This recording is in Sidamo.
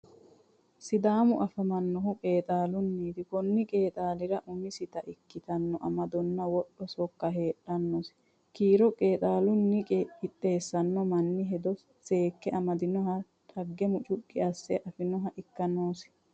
Sidaamu afamanohu qeexxallunniti koni qeexxallira umisitta ikkitino amadonna wodho sokka heedhanosi kiiro qeexxalluta qixxeessano manni hedo seekke amadinoha dhagge mucuqi asse afinoha ikka noosi.